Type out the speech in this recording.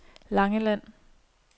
Langeland